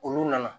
Olu nana